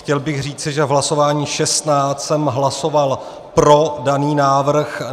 Chtěl bych říci, že v hlasování 16 jsem hlasoval pro daný návrh.